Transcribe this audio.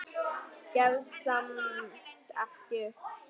Gefst samt ekki upp.